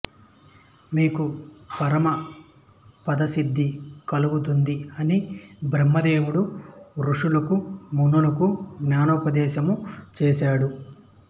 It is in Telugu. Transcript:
మీకు పరమపదసిద్ధి కలుగుతుంది అని బ్రహ్మదేవుడు ఋషులకు మునులకు జ్ఞానోపదేశము చేసాడు